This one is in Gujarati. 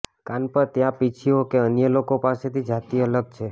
કાન પર ત્યાં પીંછીઓ કે અન્ય લોકો પાસેથી જાતિ અલગ છે